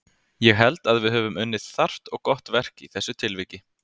Ég held að við höfum unnið þarft og gott verk í þessu tilviki.